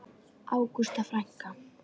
Ágústa frænka.